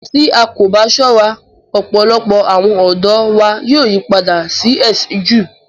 Tí a kò bá sọ̀rọ̀, ọpọlọpọ̀ àwọn ọdọ wa yóò yìpàdà sí ẹ̀sin Jùú.